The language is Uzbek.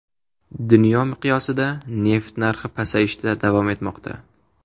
Dunyo miqyosida neft narxi pasayishda davom etmoqda.